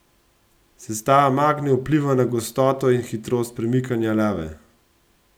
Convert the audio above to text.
Sestava magme vpliva na gostoto in hitrost premikanja lave.